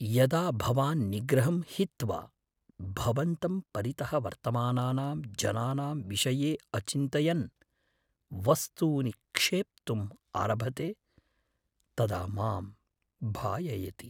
यदा भवान् निग्रहं हित्वा भवन्तं परितः वर्तमानानां जनानां विषये अचिन्तयन् वस्तूनि क्षेप्तुम् आरभते तदा मां भाययति।